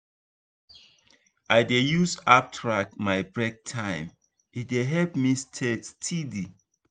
i dey use app track my break time e dey help me stay steady.